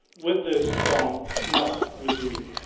with the strong, not with the weak.